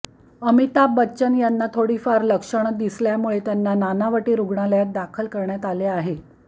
अमिताभ बच्चन यांना थोडीफार लक्षण दिसल्यामुळे त्यांना नानावटी रुग्णालयात दाखल करण्यात आले आहे